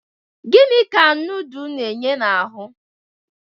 Gini ka nudul na-enye n'ahụ?